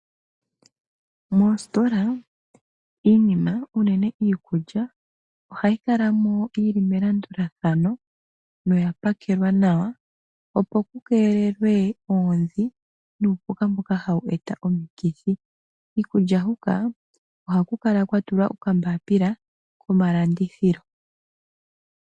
Mositola iinima unene iikulya ohayi kala mo yi li melandulathano na oyapakelwa nawa opo kukelelwe oondhi nuupuka mboka hawu eta omikithi. Kiikulya huka ohaku kala kwatulwa okambapila komalandithilo.